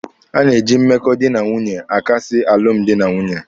A na-eji mmekọ dị na nwunye akasị alụmdi na nwunye.